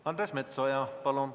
Andres Metsoja, palun!